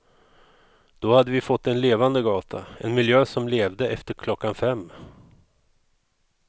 Då hade vi fått en levande gata, en miljö som levde efter klockan fem.